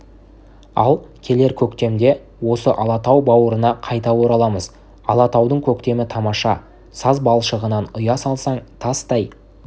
ал келер көктемде осы алатау бауырына қайта ораламыз алатаудың көктемі тамаша саз балшығынан ұя салсаң тастай